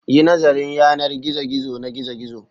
Yi nazarin yanar gizo na gizo-gizo